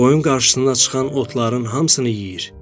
Qoyun qarşısına çıxan otların hamısını yeyir.